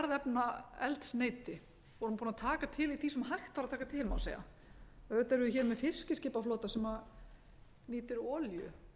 jarðefnaeldsneyti við vorum búin að taka til í því sem hægt var að taka til má segja auðvitað erum við hér með fiskiskipaflota sem nýtir olíu en það er